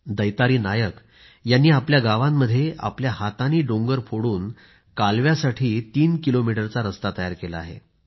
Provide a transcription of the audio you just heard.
दैतारी नायक यांनी आपल्या गावांमध्ये आपल्या हातांनी डोंगर फोडून कालव्यासाठी तीन किलोमीटरचा रस्ता तयार केला आहे